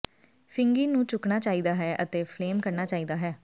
ਫਿੰਗੀ ਨੂੰ ਝੁਕਣਾ ਚਾਹੀਦਾ ਹੈ ਅਤੇ ਫਲੇਮ ਕਰਨਾ ਚਾਹੀਦਾ ਹੈ